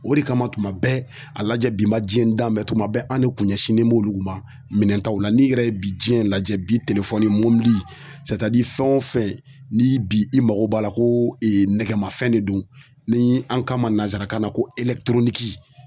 O de kama tuma bɛɛ a lajɛ bi ma diɲɛ danbɛ tuma bɛɛ an de kun ɲɛsinnen b'olu ma minɛntaw la n'i yɛrɛ ye bi diɲɛ lajɛ bi mɔbili fɛn o fɛn ni bi i mago b'a la ko e nɛgɛmafɛn de don ni an ka ma nansarakan na ko